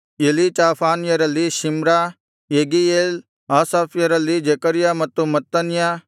ಎಲೀಚಾಫಾನ್ಯರಲ್ಲಿ Shimri Jeiel ಆಸಾಫ್ಯರಲ್ಲಿ Zechariah ಮತ್ತು ಮತ್ತನ್ಯ